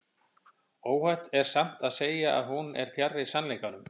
óhætt er samt að segja að hún er fjarri sannleikanum